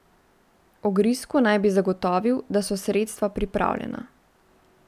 Ogrizku naj bi zagotovil, da so sredstva pripravljena.